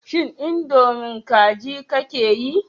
Shin indomie kaji kake yi?